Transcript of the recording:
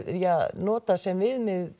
notað sem viðmið